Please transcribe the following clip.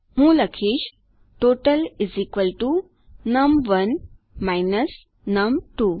હું લખીશ ટોટલ નમ1 નમ2